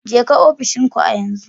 Jeka ofishin ku a yanzu